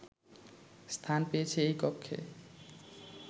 স্থান পেয়েছে এই কক্ষে